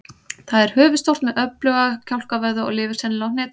Það er höfuðstórt með öfluga kjálkavöðva og lifir sennilega á hnetum.